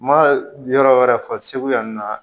Ma yɔrɔ wɛrɛ fɔ segu yan nɔ